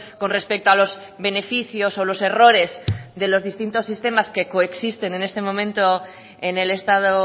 con respecto a los beneficios o los errores de los distintos sistemas que coexisten en este momento en el estado